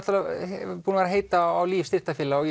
búinn að heita á Líf styrktarfélag og